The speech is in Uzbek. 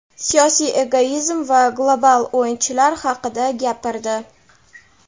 siyosiy egoizm va global "o‘yinchi"lar haqida gapirdi.